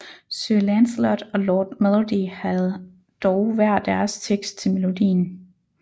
Sir Lancelot og Lord Melody havde dog hver deres tekst til melodien